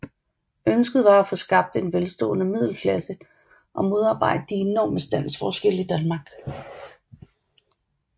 Ønsket var at få skabt en velstående middelklasse og modarbejde de enorme standsforskelle i Danmark